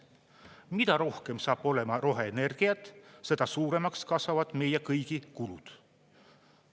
Mida rohkem saab olema roheenergiat, seda suuremaks kasvavad meie kõigi kulud.